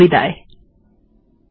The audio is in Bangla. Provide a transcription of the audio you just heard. এতে অংশগ্রহন করার জন্য ধন্যবাদ